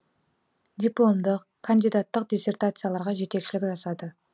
дипломдық кандидаттық диссертацияларға жетекшілік жасады